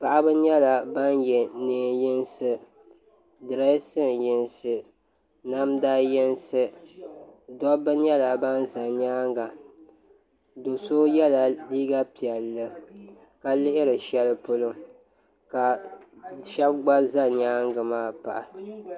Paɣaba nyɛla ban yɛ neen yinsi direesin yinsi namda yinsi dabba nyɛla ban ʒɛ nyaanga do so yɛla liiga piɛlli ka lihiri shɛli polo ka shab gba ʒɛ nyaangi maa pahi